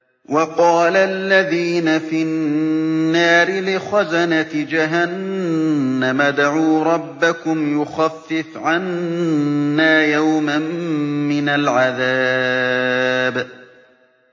وَقَالَ الَّذِينَ فِي النَّارِ لِخَزَنَةِ جَهَنَّمَ ادْعُوا رَبَّكُمْ يُخَفِّفْ عَنَّا يَوْمًا مِّنَ الْعَذَابِ